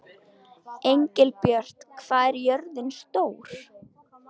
Engilbjört, hvað er jörðin stór?